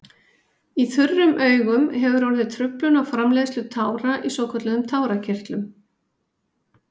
Í þurrum augum hefur orðið truflun á framleiðslu tára í svokölluðum tárakirtlum.